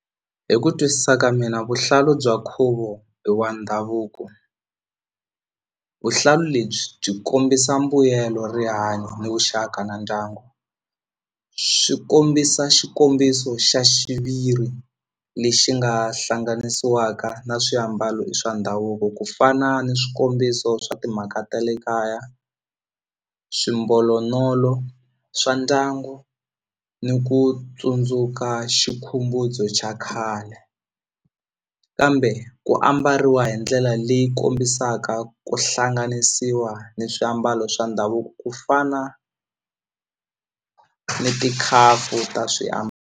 Hi ku twisisa ka mina vuhlalu bya nkhuvo i wa ndhavuko vuhlalu lebyi byi kombisa mbuyelo rihanyo ni vuxaka na ndyangu swi kombisa xikombiso xa xiviri lexi nga hlanganisiwaka na swiambalo swa ndhavuko ku fana ni swikombiso swa timhaka ta le kaya swimbolonolo swa ndyangu ni ku tsundzuka xa khale kambe ku ambariwa hi ndlela leyi kombisaka ku hlanganisiwa ni swiambalo swa ndhavuko ku fana ni tikhapu ta .